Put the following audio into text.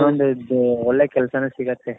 ಇನ್ನೊಂದ್ ಇದು ಒಳ್ಳೆ ಕೆಲಸಾನೆ ಸಿಗುತ್ತೆ